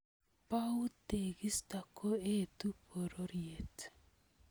Bou tekisto koetu pororiet